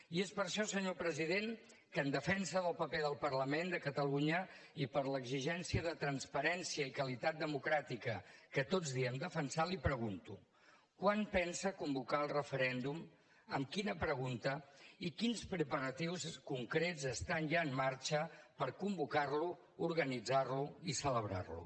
i és per això senyor president que en defensa del paper del parlament de catalunya i per l’exigència de transparència i qualitat democràtica que tots diem defensar li pregunto quan pensa convocar el referèndum amb quina pregunta i quins preparatius concrets estan ja en marxa per convocar lo organitzar lo i celebrar lo